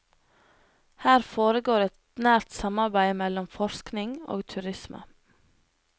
Her foregår et nært samarbeid mellom forskning og turisme.